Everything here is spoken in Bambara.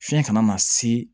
Fiɲɛ kana na se